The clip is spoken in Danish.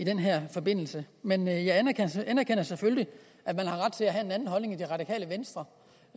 den her forbindelse men jeg anerkender selvfølgelig at man har ret til at have en anden holdning i det radikale venstre